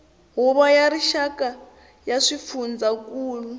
huvo ya rixaka ya swifundzankulu